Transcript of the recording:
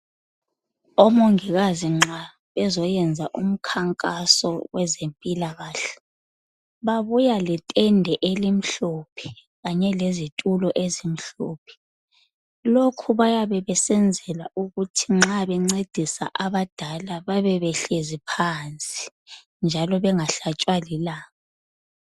Omongikazi nxa bezoyenza umkhankaso wezempilakahle. Babuya letende elimhlophe .Kanye lezitulo ezimhlophe .Lokhu bayabe besenzela ukuthi nxa bencedisa abadala babe behlezi phansi .Njalo bengahlatshwa lilanga .